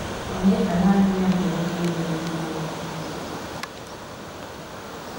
Ònye ka nanị ya bụ Onye Ndú ezigbo ndị Igbo?